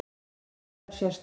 Já, þetta er sérstakt.